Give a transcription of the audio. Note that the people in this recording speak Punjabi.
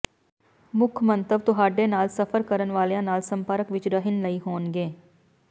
ਮੁੱਖ ਮੰਤਵ ਤੁਹਾਡੇ ਨਾਲ ਸਫ਼ਰ ਕਰਨ ਵਾਲਿਆਂ ਨਾਲ ਸੰਪਰਕ ਵਿਚ ਰਹਿਣ ਲਈ ਹੋਣਗੇ